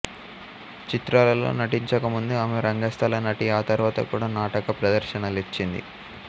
చిత్రాలలో నటించకముందు ఆమె రంగస్థల నటి ఆ తర్వాత కూడా నాటక ప్రదర్శనలిచ్చింది